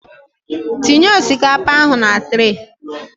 Tinye osikapa ahụ na trey